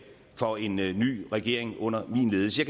for en ny ny regering under min ledelse